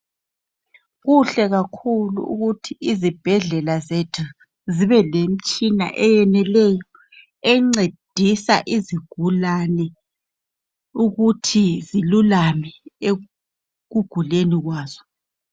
Kuhle kakhulu ukuthi izibhedlela zethu zibe lemtshina eyeneleyo encedisa izigulane ukuthi zilulame ekuguleni kwazo.